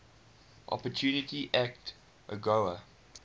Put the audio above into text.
opportunity act agoa